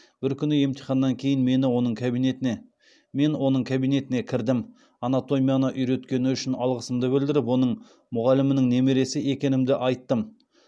бір күні емтиханнан кейін мен оның кабинетіне кірдім анатомияны үйреткені үшін алғысымды білдіріп оның мұғалімінің немересі екенімді айттым